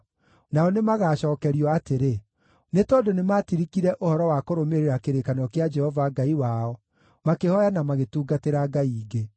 Nao nĩmagacookerio atĩrĩ, ‘Nĩ tondũ nĩmatirikire ũhoro wa kũrũmĩrĩra kĩrĩkanĩro kĩa Jehova Ngai wao, makĩhooya na magĩtungatĩra ngai ingĩ.’ ”